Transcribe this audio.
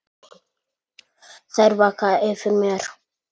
Þær vaka yfir mér.